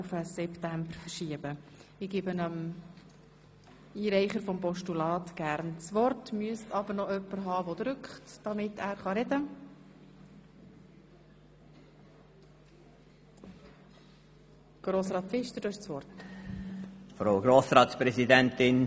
Unser Ziel ist es, das heute noch durchzubringen und die anderen Traktanden in die Septembersession zu verschieben.